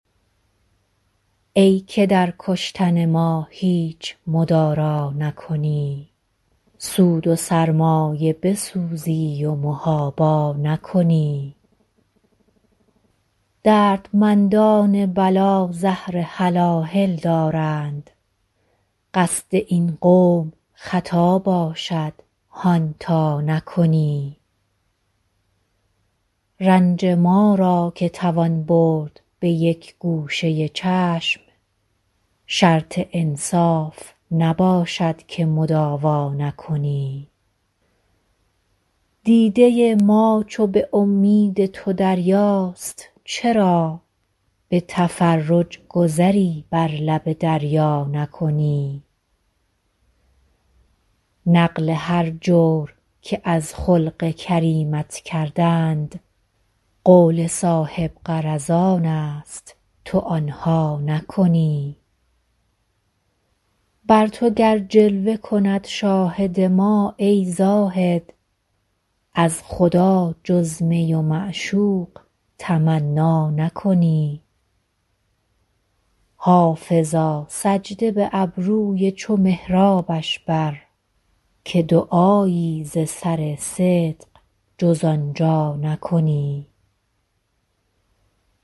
ای که در کشتن ما هیچ مدارا نکنی سود و سرمایه بسوزی و محابا نکنی دردمندان بلا زهر هلاهل دارند قصد این قوم خطا باشد هان تا نکنی رنج ما را که توان برد به یک گوشه چشم شرط انصاف نباشد که مداوا نکنی دیده ما چو به امید تو دریاست چرا به تفرج گذری بر لب دریا نکنی نقل هر جور که از خلق کریمت کردند قول صاحب غرضان است تو آن ها نکنی بر تو گر جلوه کند شاهد ما ای زاهد از خدا جز می و معشوق تمنا نکنی حافظا سجده به ابروی چو محرابش بر که دعایی ز سر صدق جز آن جا نکنی